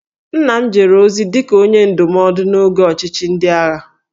Nna m jere ozi dị ka Onye Ndụmọdụ n'oge ọchịchị ndị agha